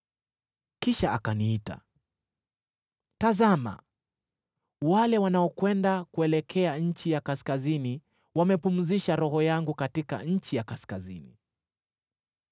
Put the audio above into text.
Kisha akaniita, “Tazama, wale wanaokwenda kuelekea nchi ya kaskazini wamepumzisha Roho yangu katika nchi ya kaskazini.”